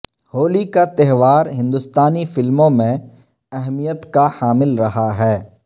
ہولی کا تہوار ہندوستانی فلموں میں اہمیت کا حامل رہا ہے